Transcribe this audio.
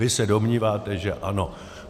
Vy se domníváte, že ano.